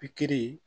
Pikiri